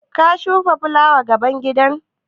Ka shuka fulawa gaban gida?